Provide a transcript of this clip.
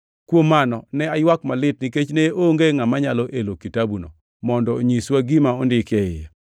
Kuom mano ne aywak malit nikech ne onge ngʼama nyalo elo kitabuno mondo onyiswa gima ondiki e iye.